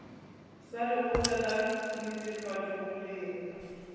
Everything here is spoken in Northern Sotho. sa lekgotla la netefatšo boleng